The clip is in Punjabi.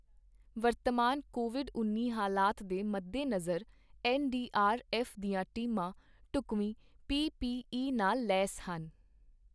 ਵਰਤਮਾਨ ਕੋਵਿਡ ਉੱਨੀ ਹਾਲਾਤ ਦੇ ਮੱਦੇ ਨਜਰ, ਐੱਨ ਡੀ ਆਰ ਐੱਫ਼ ਦੀਆਂ ਟੀਮਾਂ ਢੁੱਕਵੀਂ ਪੀ ਪੀ ਈ ਨਾਲ ਲੈਸ ਹਨ।